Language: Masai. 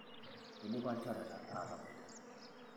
eidipa ilchoreta ataboitare